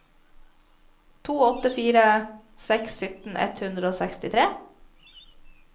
to åtte fire seks sytten ett hundre og sekstitre